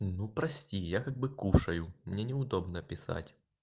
ну прости я как бы кушаю мне неудобно писать